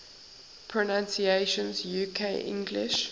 pronunciations uk english